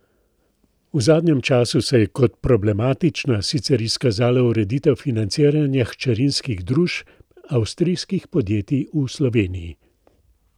V zadnjem času se je kot problematična sicer izkazala ureditev financiranja hčerinskih družb avstrijskih podjetij v Sloveniji.